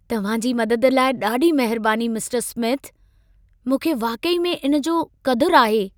तव्हां जी मदद लाइ ॾाढी महिरबानी मिस्टर स्मिथ। मूंखे वाकई में इन जो क़दुरु आहे।